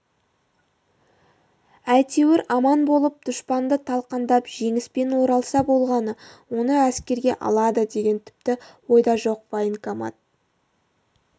әйтеуір аман болып дұшпанды талқандап жеңіспен оралса болғаны оны әскерге алады деген тіпті ойда жоқ военкомат